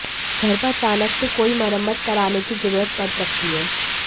घर पर अचानक से कोई मरम्मत कराने की जरूरत पड़ सकती है